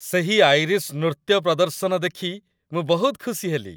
ସେହି ଆଇରିଶ୍ ନୃତ୍ୟ ପ୍ରଦର୍ଶନ ଦେଖି ମୁଁ ବହୁତ ଖୁସି ହେଲି।